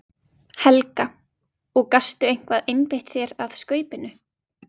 Helga: Og gastu eitthvað einbeitt þér að Skaupinu?